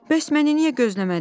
Bəs məni niyə gözləmədiniz?